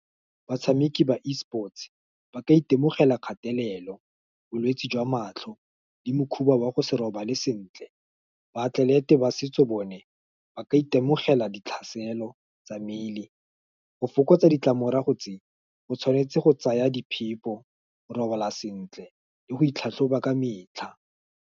Batshameki ba eSports, ba ka itemogela kgatelelo, bolwetse jwa matlho, le makhuba wa go se robale sentle, baatlelete ba setso bone, ba ka itemogela ditlhaselo tsa mmele, go fokotsa ditlamorago tse, o tshwanetse go tsaya di phepo, go robala sentle, le go itlhatlhoba ka metlha.